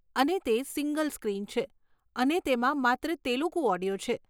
અને તે single screen છે અને તેમાં માત્ર તેલુગુ ઓડિયો છે.